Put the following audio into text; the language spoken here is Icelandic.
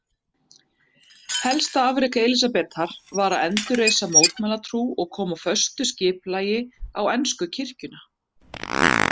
Helsta afrek Elísabetar var að endurreisa mótmælendatrú og koma föstu skipulagi á ensku kirkjuna.